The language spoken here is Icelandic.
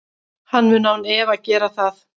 Hann mun án efa gera það.